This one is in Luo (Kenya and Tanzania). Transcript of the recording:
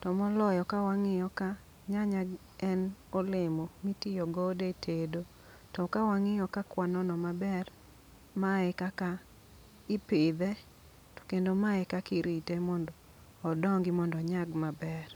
To moloyo ka wang'iyo ka, nyanya g en olemo mitiyogodo e tedo. To kawang'iyo ka kwanono maber, ma e kaka ipidhe to kendo ma e kakirite mondo odongi mondo onyagi maber.